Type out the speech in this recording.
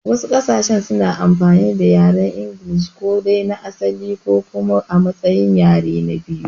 Wasu ƙasashen suna amfani da yaren inglishi, ko dai na asali ko kuma a matsayin yare na biyu.